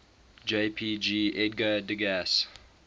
jpg edgar degas